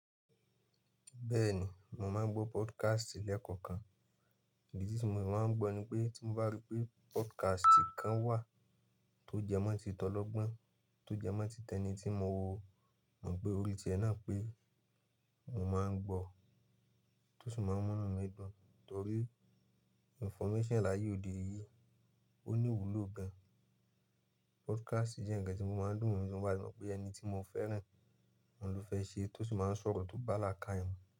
Bẹ́ẹ̀ni, mo máà ń gbọ́ podcast lẹ́kọ̀ọ̀kan. Ìdí tí mo máa ń gbọ́ ni pé tí mo bá rí pé podcast kan wà tó jẹmọ́ tí tọlọgbọ́n, tó jẹmọ́ tí tẹni tí mo mọ̀ pe orí tí ẹ náà pé mo mo ń gbọ́ tó sì máa ń mú mí dùn, torí information láyé òde yìí ó ní ìwúlò gan. Podcast jẹ́ ǹkan tí mo máa ń dùn ní tí mo bá ti mo pé ẹni tí mo fẹ́ràn, òun ló fẹ́ ṣe ẹ, tó sì mo ń sọ̀rọ̀ tó bá là ká ye mu.